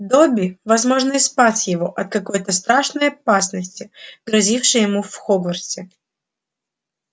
добби возможно и спас его от какой-то страшной опасности грозившей ему в хогвартсе